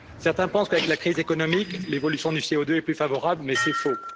Certains pensent qu'avec la crise économique, l'évolution du CO2 est plus favorable, mais c'est faux.